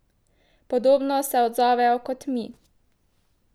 Podobno se odzovejo, kot mi.